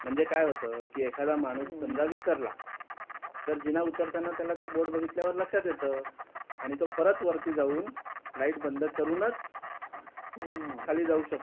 म्हणजे काय होतं की एखादा माणूस समजा विसरला तर जिना उतरताना त्याला ते बोर्ड बघितल्यावर लक्षात येतं आणि तो परत वरती जाऊन लाइट बंद करूनच खाली जाऊ शकतो.